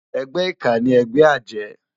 Ègbè iká ni ègbè àjë